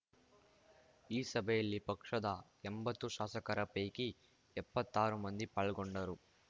ಈ ಸಭೆಯಲ್ಲಿ ಪಕ್ಷದ ಎಂಬತ್ತು ಶಾಸಕರ ಪೈಕಿ ಎಪ್ಪತ್ತಾರು ಮಂದಿ ಪಾಲ್ಗೊಂಡರು